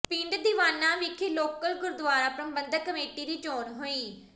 ਪਿੰਡ ਦੀਵਾਨਾ ਵਿਖੇ ਲੋਕਲ ਗੁਰਦੁਆਰਾ ਪ੍ਰਬੰਧਕ ਕਮੇਟੀ ਦੀ ਚੋਣ ਹੋਈ